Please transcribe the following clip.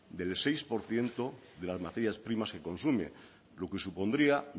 del seis por ciento de las materias primas que consume lo que supondría